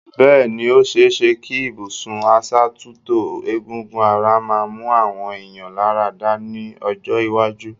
Bẹ́ẹ̀ ni, ó ṣẹ é ṣẹ kí ibùsùn asàtútò egungun ara máa mú àwọn èèyàn láradá ní ọjọ́ iwájú.